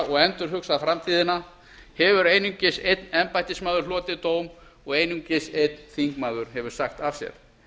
og endurhugsað framtíðina hefur einungis einn embættismaður hlotið dóm og einungis einn þingmaður hefur sagt af sér